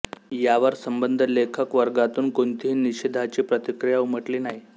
यावर सबंध लेखक वर्गातून कोणतीही निषेधाची प्रतिक्रिया उमटली नाही